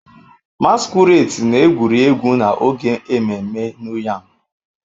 Masquerades na-egwuri egwu n'oge ememme New yam.